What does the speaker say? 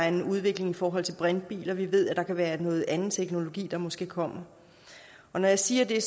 en udvikling i forhold til brintbiler vi ved at der kan være anden teknologi der måske kommer når jeg siger det